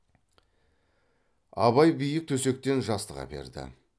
абай биік төсектен жастық әперді